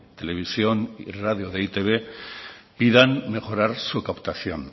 televisión y radio de e i te be pidan mejorar su captación